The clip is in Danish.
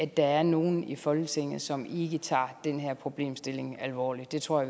der er nogen i folketinget som ikke tager den her problemstilling alvorligt det tror